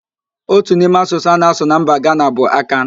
Otu n'ime asụsụ a na-asụ na mba Gana bụ Akan